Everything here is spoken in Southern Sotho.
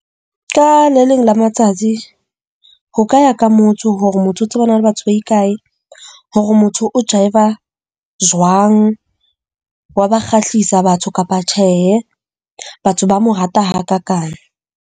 Ka le leng la matsatsi ho ka ya ka motho hore motho o tsebana le batho ba ikae. Hore motho o a jwang, wa ba kgahlisa batho kapa tjhehe. Batho ba mo rata ha kakang.